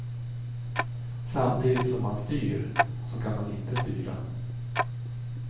Samtidigt som man styr, så kan man inte styra.